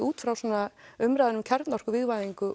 útfrá umræðu um